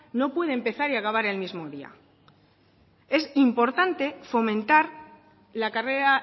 no puede empezar y acabar en el mismo día es importante fomentar la carrera